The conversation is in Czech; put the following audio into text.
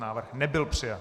Návrh nebyl přijat.